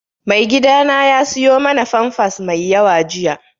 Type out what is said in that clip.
Maigidana ya siyo mana famfas mai yawa jiya